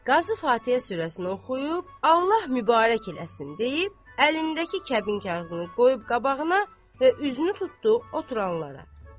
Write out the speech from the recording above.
Qazı Fatihə surəsini oxuyub, Allah mübarək eləsin deyib, əlindəki kəbin kağızını qoyub qabağına və üzünü tutdu oturanlara.